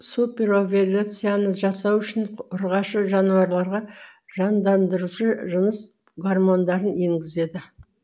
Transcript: суперовуляцияны жасау үшін ұрғашы жануарларға жандаңдырушы жыныс гормондарын енгізеді